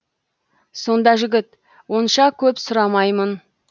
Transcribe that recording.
сонда жігіт онша көп сұрамаймын